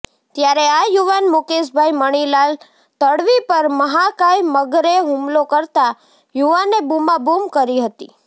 ત્યારે આ યુવાન મુકેશભાઈ મણીલાલ તડવી પર મહાકાય મગરે હુમલો કરતા યુવાને બૂમાબૂમ કરી હતી